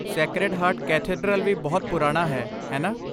Sacred heart cathedral ਵੀ ਬਹੁਤ ਪੁਰਾਣਾ ਹੈ, ਹੈ ਨਾ?